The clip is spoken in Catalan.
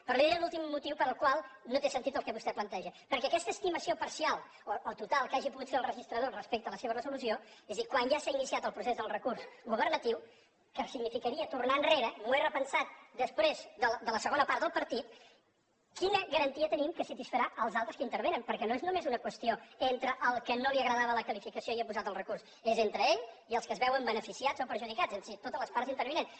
però li diré l’últim motiu pel qual no té sentit el que vostè planteja perquè aquesta estimació parcial o total que hagi pogut fer el registrador respecte a la seva resolució és a dir quan ja s’ha iniciat el procés del recurs governatiu que significaria tornar enrere m’ho he repensat després de la segona part del partit quina garantia tenim que satisfarà els altres que hi intervenen perquè no és només una qüestió entre el que no li agradava la qualificació i ha posat el recurs és entre ell i els que se’n veuen beneficiats o perjudicats és a dir totes les parts intervinents